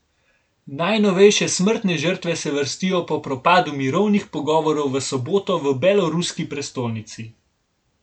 Najnovejše smrtne žrtve se vrstijo po propadu mirovnih pogovorov v soboto v beloruski prestolnici.